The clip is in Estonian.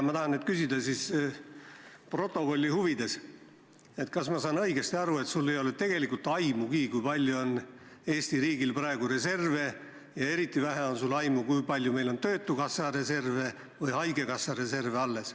Ma tahan protokolli huvides küsida, kas ma saan õigesti aru, et sul ei ole tegelikult aimugi, kui palju on Eesti riigil praegu reserve, ja eriti vähe on sul aimu sellest, kui palju on meil alles töötukassa või haigekassa reserve.